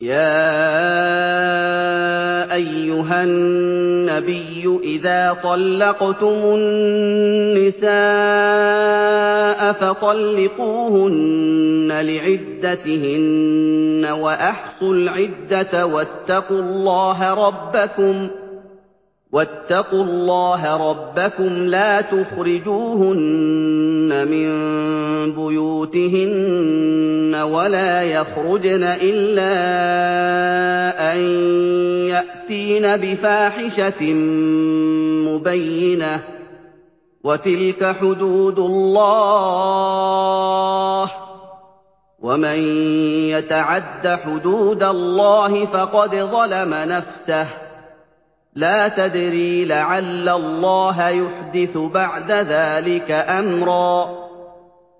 يَا أَيُّهَا النَّبِيُّ إِذَا طَلَّقْتُمُ النِّسَاءَ فَطَلِّقُوهُنَّ لِعِدَّتِهِنَّ وَأَحْصُوا الْعِدَّةَ ۖ وَاتَّقُوا اللَّهَ رَبَّكُمْ ۖ لَا تُخْرِجُوهُنَّ مِن بُيُوتِهِنَّ وَلَا يَخْرُجْنَ إِلَّا أَن يَأْتِينَ بِفَاحِشَةٍ مُّبَيِّنَةٍ ۚ وَتِلْكَ حُدُودُ اللَّهِ ۚ وَمَن يَتَعَدَّ حُدُودَ اللَّهِ فَقَدْ ظَلَمَ نَفْسَهُ ۚ لَا تَدْرِي لَعَلَّ اللَّهَ يُحْدِثُ بَعْدَ ذَٰلِكَ أَمْرًا